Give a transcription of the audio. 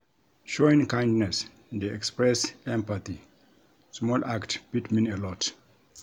Showing kindness dey express empathy; small act fit mean a lot.